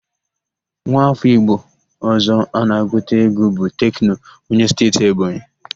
Nwa áfọ́ Igbo ọ̀zọ́ na-agụta égwú bụ Tekno, onye Steeti Ebonyi.